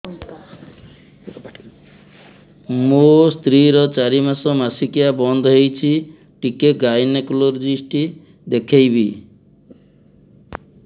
ମୋ ସ୍ତ୍ରୀ ର ଚାରି ମାସ ମାସିକିଆ ବନ୍ଦ ହେଇଛି ଟିକେ ଗାଇନେକୋଲୋଜିଷ୍ଟ ଦେଖେଇବି